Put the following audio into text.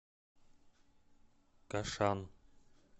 кашан